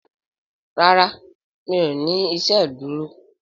ràrá mi'o ní iṣeduro.